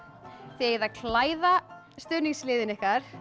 þið eigið að klæða stuðningsliðin ykkar